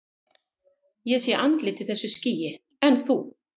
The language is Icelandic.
Ég sé andlit í þessu skýi, en þú?